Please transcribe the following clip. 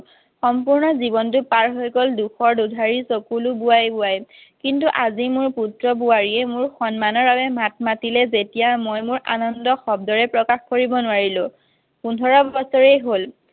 সম্পূৰ্ণ জীৱনতো পাৰ হৈ গল দুখৰ দুধাৰি চকুলো বোৱাই বোৱাই। কিন্তু আজি মোৰ পুত্ৰ বোৱাৰীয়ে সন্মানৰ বাবে মাত মাতিলে যেতিয়া মই মোৰ আনন্দ শব্দৰে প্ৰকাশ কৰিব নোৱাৰিলোঁ পোন্ধৰ বছৰেই হ'ল